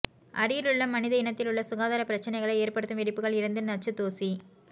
அருகிலுள்ள மனித இனத்திலுள்ள சுகாதார பிரச்சினைகளை ஏற்படுத்தும் வெடிப்புகள் இருந்து நச்சு தூசி